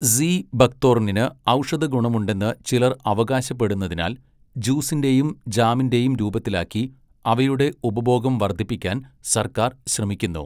See ബക്ക്തോർണിന് ഔഷധഗുണമുണ്ടെന്ന് ചിലർ അവകാശപ്പെടുന്നതിനാൽ ജ്യൂസിന്റെയും ജാമിന്റെയും രൂപത്തിലാക്കി അവയുടെ ഉപഭോഗം വർദ്ധിപ്പിക്കാൻ സർക്കാർ ശ്രമിക്കുന്നു.